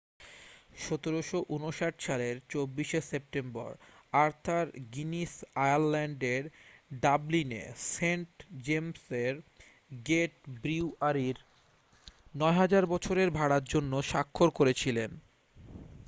1759 সালের 24 শে September Arthur Guinness আয়ারল্যান্ডের ডাবলিনে সেন্ট জেমসের গেট ব্রিউয়ারির 9,000 বছরের ভাড়ার জন্য স্বাক্ষর করেছিলেন